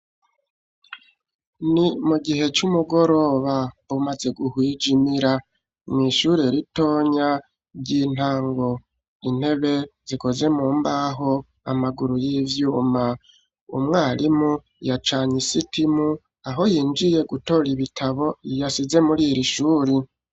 Ni mu gihe c'umugoroba umaze guhwijimira mw'ishure ritonya ry'intango, intebe zikoze mu mbaho, amaguru y'ivyuma, umwarimu yacanye isitimu aho yinjiye gutora ibitabo yasize muri ir'ishuri